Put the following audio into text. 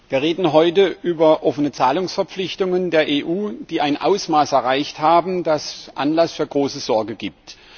Wir reden heute über offene Zahlungsverpflichtungen der EU, die ein Ausmaß erreicht haben, das Anlass zu großer Sorge gibt.